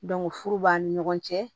Dɔnku furu b'an ni ɲɔgɔn cɛ